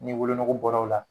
Ni wolonogo bɔra o la